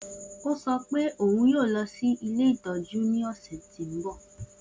O sọ pe oun yoo lọ si ile itọju ntọju ni ọsẹ ti n bọ